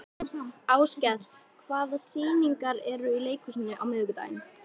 Áskell, hvaða sýningar eru í leikhúsinu á miðvikudaginn?